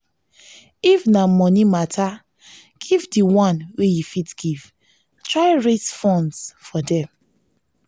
if na money matter give di one wey you fit give and try raise funds for dem